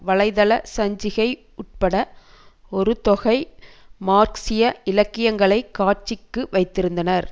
வலை தள சஞ்சிகை உட்பட ஒரு தொகை மார்க்சிய இலக்கியங்களை காட்சிக்கு வைத்திருந்தனர்